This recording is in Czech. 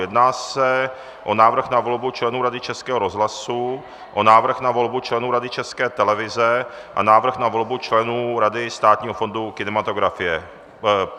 Jedná se o návrh na volbu členů Rady Českého rozhlasu, o návrh na volbu členů Rady České televize a návrh na volbu členů Rady Státního fondu kinematografie.